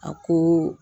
A ko